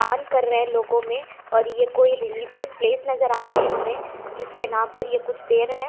दान कर रहे है लोगो में और ये कोई रेलिजेस प्लेस नजर आ रही है हमे जिसके नाम पर ये कुछ दे रहे है।